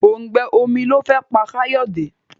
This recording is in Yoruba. òùngbẹ omí ló fé pá Kayode.